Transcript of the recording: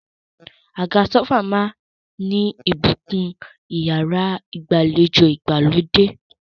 Àga sófà máà ń bùkún ẹwà iyàrá ìgbàlejò ìgbàlódé.